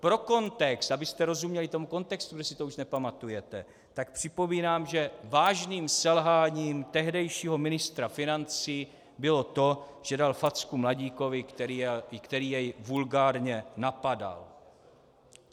Pro kontext, abyste rozuměli tomu kontextu, kdo si to už nepamatujete, tak připomínám, že vážným selháním tehdejšího ministra financí bylo to, že dal facku mladíkovi, který jej vulgárně napadal.